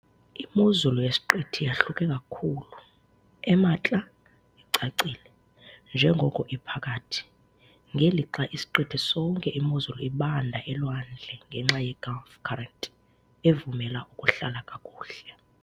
Imozulu yesiqithi yahluke kakhulu- emantla icacile, njengoko iphakathi, ngelixa isiqithi sonke imozulu ibanda elwandle ngenxa yeGulf current, evumela ukuhlala kakuhle.